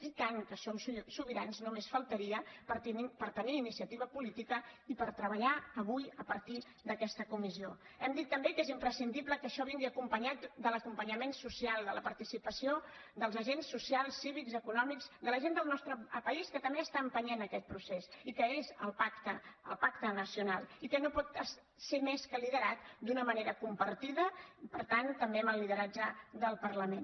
i tant que som sobirans només faltaria per tenir iniciativa política i per treballar avui a partir d’aquesta comissió hem dit també que és imprescindible que això vingui acompanyat de l’acompanyament social de la participació dels agents socials cívics econòmics de la gent del nostre país que també està empenyent aquest procés i que és el pacte nacional i que no pot ser més que liderat d’una manera compartida i per tant també amb el lideratge del parlament